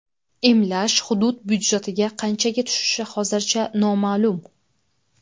Emlash hudud budjetiga qanchaga tushishi hozircha noma’lum.